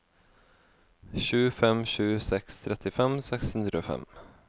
sju fem sju seks trettifem seks hundre og fem